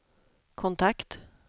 kontakt